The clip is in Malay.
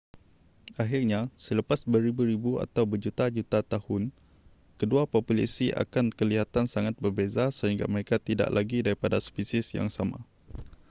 pakhirnya selepas beribu-ribu atau berjuta-juta tahun kedua populasi akan kelihatan sangat berbeza sehingga mereka tidak lagi daripada spesies yang sama